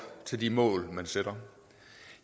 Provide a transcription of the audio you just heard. til de mål man sætter